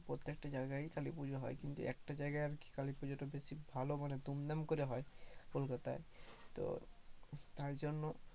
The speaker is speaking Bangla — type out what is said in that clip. প্রত্যেকটা জায়গায় কালী পুজো হয়, কিন্তু একটা জায়গায় আর কি কালী পূজোটা আরকি বেশ ভালো মানে দুমদাম করে হয় কলকাতায়। তো তাই জন্য